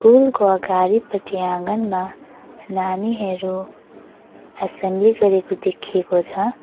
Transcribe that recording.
कुलको अगाडिपटि आँगनमा नानीहेरू एसेम्ली गरेको देखिएको छ।